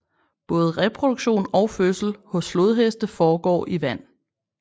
Både reproduktion og fødsel hos flodheste foregår i vand